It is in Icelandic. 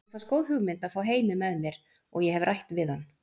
Mér fannst góð hugmynd að fá Heimi með mér og ég hef rætt við hann.